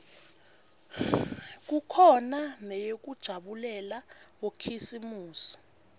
kukhona neyekujabulela bokhisimusi